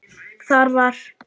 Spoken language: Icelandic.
Þar var